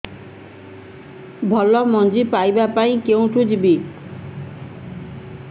ଭଲ ମଞ୍ଜି ପାଇବା ପାଇଁ କେଉଁଠାକୁ ଯିବା